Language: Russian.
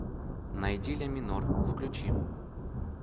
найди ляминор включи